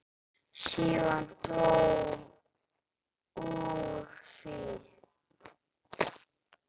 Síðan dró úr því.